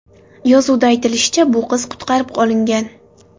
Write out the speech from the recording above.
Yozuvda aytilishicha, bu qiz qutqarib olingan.